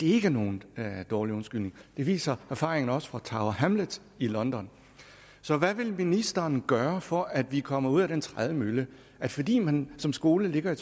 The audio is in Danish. er nogen dårlig undskyldning det viser erfaringerne også fra tower hamlets i london så hvad vil ministeren gøre for at vi kommer ud af den trædemølle at fordi man som skole ligger i